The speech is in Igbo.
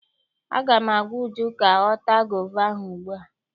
Aga m agwa Uju ka ọ taa gova ahụ ugbu a!